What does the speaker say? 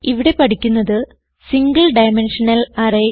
ഇവിടെ പഠിക്കുന്നത് single dimensional array